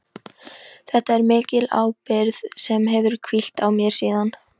Þetta er mikil ábyrgð sem hefur hvílt á mér síðan.